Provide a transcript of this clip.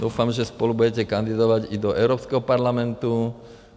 Doufám, že spolu budete kandidovat i do Evropského parlamentu.